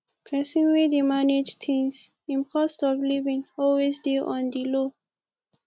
pesin wey dey manage things im cost of livin always dey on di low